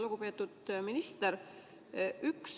Lugupeetud minister!